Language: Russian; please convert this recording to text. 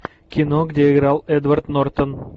кино где играл эдвард нортон